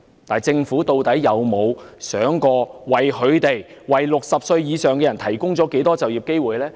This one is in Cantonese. "但政府究竟有否想過，他們為60歲或以上人士提供了多少就業機會呢？